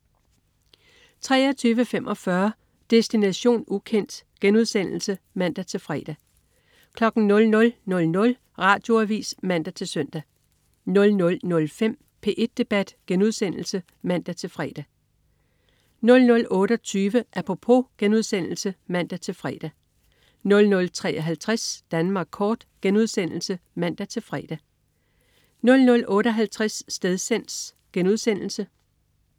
23.45 Destination ukendt* (man-fre) 00.00 Radioavis (man-søn) 00.05 P1 Debat* (man-fre) 00.28 Apropos* (man-fre) 00.53 Danmark kort* (man-fre) 00.58 Stedsans*